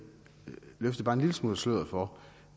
løfte bare en lille smule af sløret for